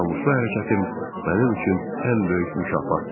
Namuslu hərəkətim mənim üçün ən böyük mükafatdır.